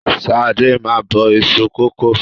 Ṣadé máa ń bọ iṣu kòkó